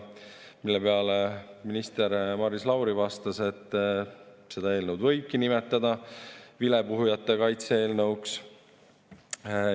Selle peale minister Maris Lauri vastas, et seda eelnõu võibki nimetada vilepuhujate kaitse eelnõuks.